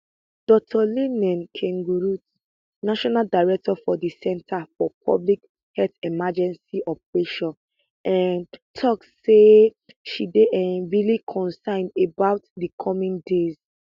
dr liliane nkengurutse national director for di centre for public health emergency operations um tok says she dey um really concerned about di coming days